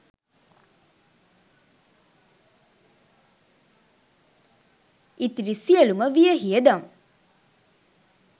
ඉතිරි සියලුම වියහියදම්